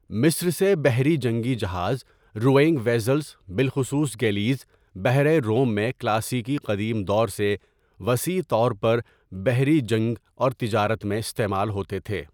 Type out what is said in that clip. مصر سے، بحری جنگی جہاز روینگ وزلز، بالخصوص گیلیز، بحیرہ روم میں کلاسیکی قدیم دور سے وسيع طور پر بحری جنگ اور تجارت میں استعمال ہوتے تھے.